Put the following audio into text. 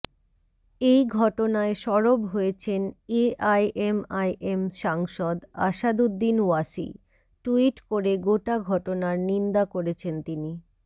এই ঘটনায় সরব হয়েছেন এআইএমআইএম সাংসদ আসাদুদ্দিন ওয়াসি ট্যুইট করে গোটা ঘটনার নিন্দা করেছেন তিনি